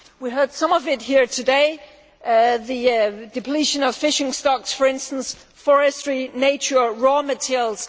We heard some of it here today the depletion of fishing stocks, for instance, forestry, nature or raw materials.